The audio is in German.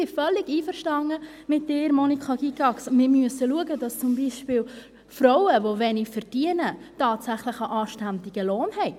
Ich bin völlig einverstanden mit Ihnen, Monika Gygax: Wir müssen schauen, dass zum Beispiel Frauen, die wenig verdienen, tatsächlich einen anständigen Lohn haben.